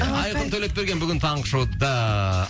алақай айқын төлепберген бүгін таңғы шоуда